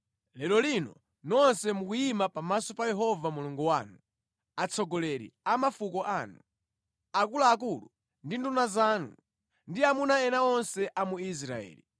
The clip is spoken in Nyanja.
Lero lino nonse mukuyima pamaso pa Yehova Mulungu wanu, atsogoleri a mafuko anu, akuluakulu ndi nduna zanu, ndi amuna ena onse a mu Israeli,